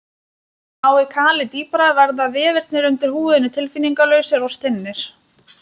Nái kalið dýpra verða vefirnir undir húðinni tilfinningalausir og stinnir.